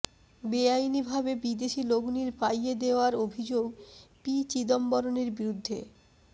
বেআইনি ভাবে বিদেশী লগ্নির পাইয়ে দেওয়ার অভিযোগ পি চিদম্বরমের বিরুদ্ধে